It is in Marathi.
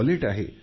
वॉलेट आहे